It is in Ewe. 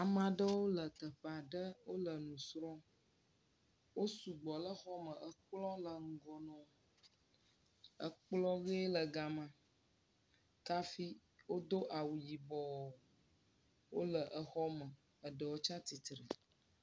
Ame aɖewo le teƒe aɖe, wole nu srɔ̃m, wo sugbɔ le xɔ me, ekplɔ le ŋgɔ na wo, ekplɔ ʋe gama, kafi wodo awu yibɔɔ, wole exɔ me, eɖewo tsatsitre.